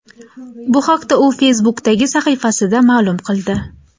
Bu haqda u Facebookʼdagi sahifasida maʼlum qildi .